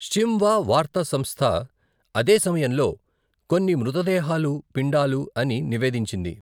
Xinhua వార్తా సంస్థ, అదే సమయంలో, కొన్ని మృతదేహాలు పిండాలు అని నివేదించింది.